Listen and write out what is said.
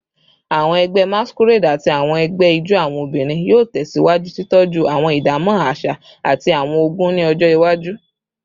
Awọn ẹgbẹ Masquerade ati awọn ẹgbẹ ijó awọn obinrin yoo tẹsiwaju titọju awọn idamọ aṣa ati awọn ogún ni ọjọ iwaju